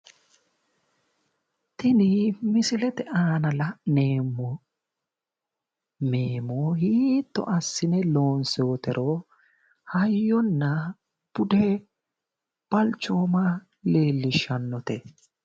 Tini msilete aana la'neemmohu meemo hiitto assine loonsoonnitero hayyonna bude balchooma leellishshannote